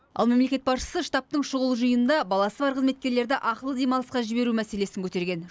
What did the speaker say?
ал мемлекет басшысы штабтың шұғыл жиынында баласы бар қызметкерлерді ақылы демалысқа жіберу мәселесін көтерген